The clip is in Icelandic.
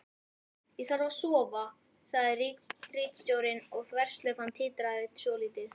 Ég þarf að sofa, sagði ritstjórinn og þverslaufan titraði svolítið.